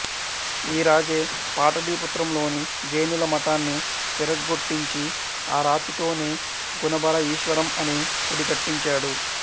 ఈ రాజే పాటలీపుత్రంలోని జైనుల మఠాన్ని విరగగొట్టించి ఆరాతితోనే గుణభరఈశ్వరం అనే గుడి కట్టించాడు